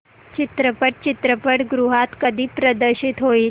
चित्रपट चित्रपटगृहात कधी प्रदर्शित होईल